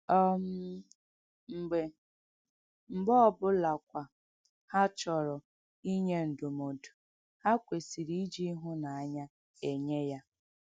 um Mgbe Mgbe ọ bụlakwa ha chọrọ inye ndụmọdụ, ha kwesịrị iji ịhụnanya enye ya.